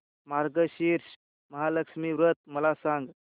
मार्गशीर्ष महालक्ष्मी व्रत मला सांग